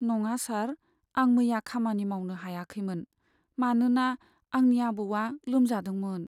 नङा सार, आं मैया खामानि मावनो हायाखैमोन, मानोना आंनि आबौआ लोमजादोंमोन।